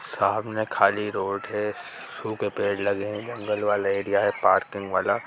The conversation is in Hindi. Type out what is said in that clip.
सामने खाली रोड है सूखे पेड़ लगे हैं। जंगल वाले एरिया है पार्किंग वाला --